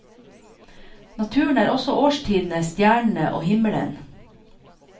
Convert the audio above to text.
Naturen er også årstidene, stjernene og himmelen.